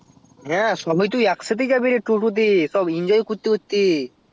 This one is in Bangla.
হ্যাঁ সবাই তো একসাথে যাবে রে টোটো তে সব enjoy করতে করতে